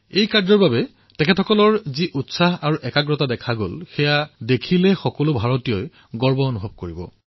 এই কাৰ্যৰ বাবে তেওঁলোকৰ যি উৎসাহ পৰিলক্ষিত হৈছে সেয়া প্ৰত্যক্ষ কৰি সকলো ভাৰতীয়ই গৰ্ব অনুভৱ কৰিব